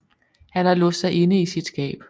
Han har låst sig inde i sit skab